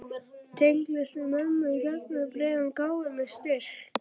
Tengslin við mömmu í gegnum bréfin gáfu mér styrk.